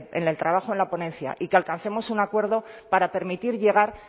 en el trabajo en la ponencia y que alcancemos un acuerdo para permitir llegar